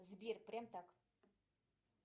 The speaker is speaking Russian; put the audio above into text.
сбер прям так